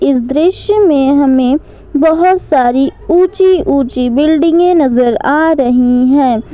इस दृश्य में हमें बहुत सारी ऊंची ऊंची बिल्डिंगे नजर आ रही है।